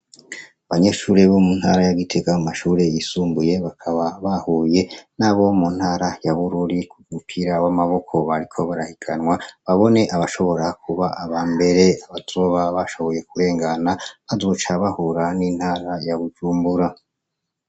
Abanyeshure bo mu ntara ya Gitega mu mashure y'isumbuye bakaba bahuye n'abo mu ntara ya Bururi m'umupira w'amaboko bariko barahiganwa, babone abashobora kuba ab'ambere. Abazoba bashoboye kurengana bazoca bahura n'intara ya Bujumbura.